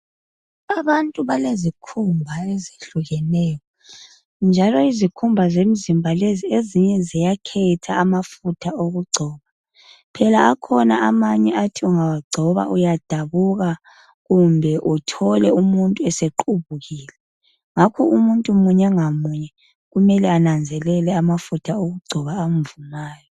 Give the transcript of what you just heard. Abantu balezikhumba ezehlukeneyo, njalo izikhumba zemzimba lezi , ezinye ziyakhetha amafutha okugcoba. Phela akhona amanye othi ungawagcoba uyadabuka. Kumbe uthole umuntu esequbukile. Ngakho umuntu munye ngamunye, kumele ananzelele amafutha okugcoba amvumayo.